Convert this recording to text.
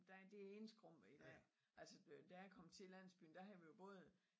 Der det indskrumpet i dag altså da jeg kom til landsbyen der havde vi jo både